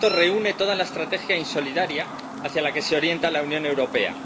Esto reúne toda la estrategia insolidaria hacia la que se orienta la Unión Europea.